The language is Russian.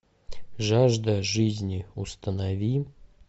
жажда жизни установи